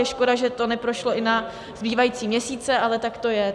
Je škoda, že to neprošlo i na zbývající měsíce, ale tak to je.